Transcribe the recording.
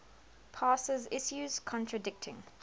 passes issues contradicting